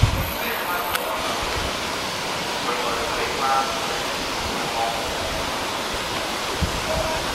Ndị mmadụ nọ na okirikiri kwekọrịta ịnwe añụrị maka ọmụmụ.